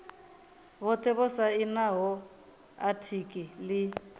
vhothe vho sainaho atiki ḽi